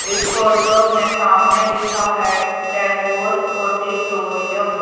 इस फोटो में सामने लिखा है टैगोर ऑडिटोरियम --